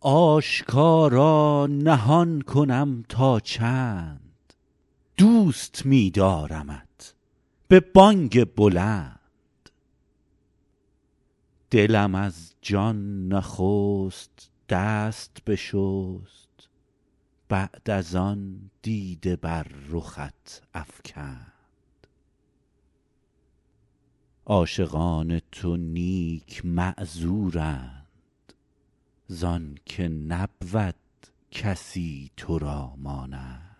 آشکارا نهان کنم تا چند دوست می دارمت به بانگ بلند دلم از جان نخست دست بشست بعد از آن دیده بر رخت افکند عاشقان تو نیک معذورند زانکه نبود کسی تو را مانند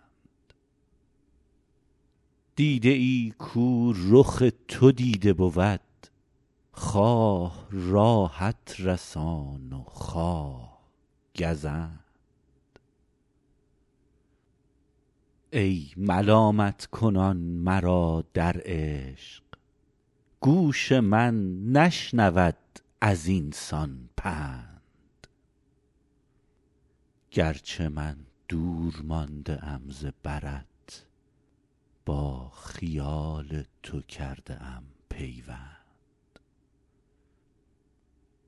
دیده ای کو رخ تو دیده بود خواه راحت رسان و خواه گزند ای ملامت کنان مرا در عشق گوش من نشنود ازین سان پند گرچه من دور مانده ام ز برت با خیال تو کرده ام پیوند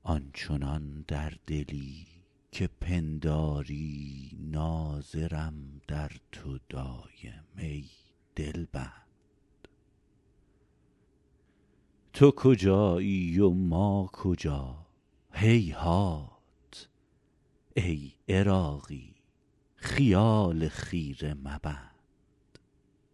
آن چنان در دلی که پنداری ناظرم در تو دایم ای دلبند تو کجایی و ما کجا هیهات ای عراقی خیال خیره مبند